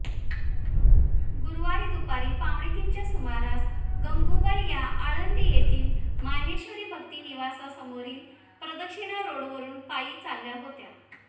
गुरुवारी दुपारी पावनेतीनच्या सुमारास गंगुबाई या आळंदी येथील माहेश्वरी भक्तनिवाससमोरील प्रदक्षिणा रोडवरुन पायी चालल्या होत्या